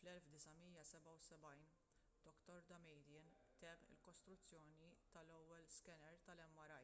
fl-1977 dr damadian temm il-kostruzzjoni tal-ewwel skener tal-mri